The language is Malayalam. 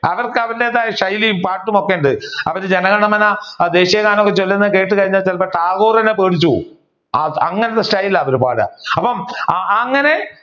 അവർക്ക് അവരുടേതായ ശൈലിയും പാട്ടും ഒക്കെ ഉണ്ട് അപ്പൊ ജനഗണമന ദേശീയഗാനം ഒക്കെ ചൊല്ലുന്നത് കേട്ട് കഴിഞ്ഞ ചിലപ്പോ ടാഗോർ തന്നെ പേടിച്ചു പോവും അങ്ങനത്തെ style ആണ് അവർ പാടുക അപ്പൊ അങ്ങനെ